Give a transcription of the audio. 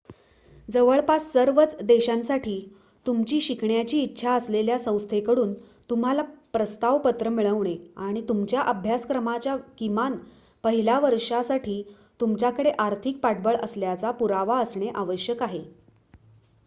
जवळपास सर्वच देशांसाठी तुमची शिकण्याची इच्छा असलेल्या संस्थेकडून तुम्हाला प्रस्ताव पत्र मिळणे आणि तुमच्या अभ्यासक्रमाच्या किमान पहिल्या वर्षासाठी तुमच्याकडे आर्थिक पाठबळ असल्याचा पुरावा असणे आवश्यक आहे